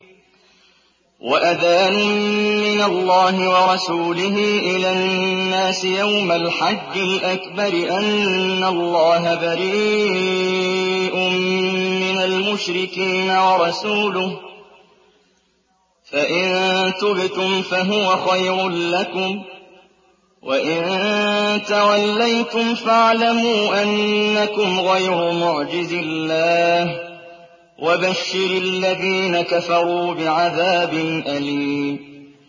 وَأَذَانٌ مِّنَ اللَّهِ وَرَسُولِهِ إِلَى النَّاسِ يَوْمَ الْحَجِّ الْأَكْبَرِ أَنَّ اللَّهَ بَرِيءٌ مِّنَ الْمُشْرِكِينَ ۙ وَرَسُولُهُ ۚ فَإِن تُبْتُمْ فَهُوَ خَيْرٌ لَّكُمْ ۖ وَإِن تَوَلَّيْتُمْ فَاعْلَمُوا أَنَّكُمْ غَيْرُ مُعْجِزِي اللَّهِ ۗ وَبَشِّرِ الَّذِينَ كَفَرُوا بِعَذَابٍ أَلِيمٍ